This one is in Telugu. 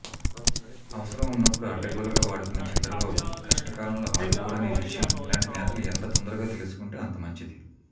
అవసరం ఉన్నప్పుడు అడ్డగోలుగా వాడుకునే చంద్రబాబు కష్టకాలంలో ఆదుకోడనే విషయం ఇలాంటి నేతలు ఎంత తొందరగా తెలుసుకుంటే అంత మంచిది